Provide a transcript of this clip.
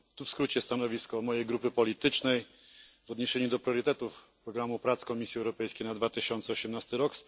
Tu w skrócie stanowisko mojej grupy politycznej w odniesieniu do priorytetów programu prac Komisji Europejskiej na 2018 r.